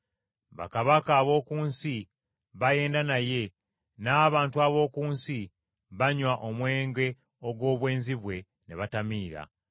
Bakabaka ab’oku nsi bayenda naye n’abantu ab’oku nsi banywa omwenge ogw’obwenzi bwe ne batamiira.”